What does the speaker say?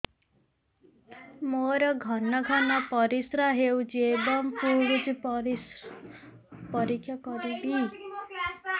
ମୋର ଘନ ଘନ ପରିସ୍ରା ହେଉଛି ଏବଂ ପଡ଼ୁଛି ପରିସ୍ରା ପରୀକ୍ଷା କରିବିକି